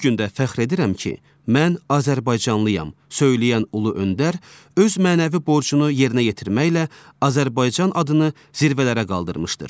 Bu gün də fəxr edirəm ki, mən azərbaycanlıyam söyləyən Ulu Öndər öz mənəvi borcunu yerinə yetirməklə Azərbaycan adını zirvələrə qaldırmışdır.